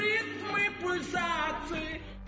ритмы пульсаций